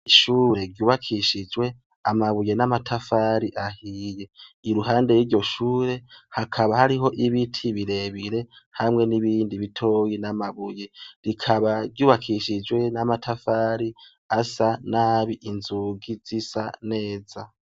Ishure ryubakishijwe amabuye n'amatafari ahiye. Iruhande y'iryo shure hakaba hariho n'ibiti birebire hamwe n'ibindi bitoya n'amabuye. Rikaba ryubakishijwe n'amatafari asa nabi, inzugi zisa neza.